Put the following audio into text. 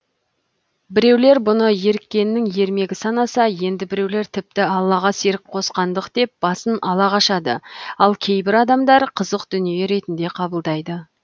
біреулер бұны еріккеннің ермегі санаса енді біреулер тіпті аллаға серік қосқандық деп басын ала қашады ал кейбір адамдар қызық дүние ретінде қабылдайды